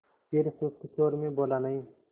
फिर सुस्त स्वर में बोला नहीं